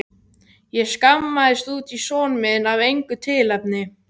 Ég skammaðist út í son minn af engu tilefni.